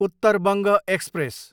Uttar Banga express